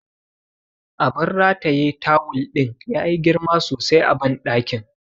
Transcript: Abun rataye tawul ɗin yayi girma sosai a banɗakin.